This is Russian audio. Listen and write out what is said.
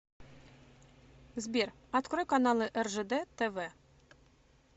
сбер открой каналы ржд тв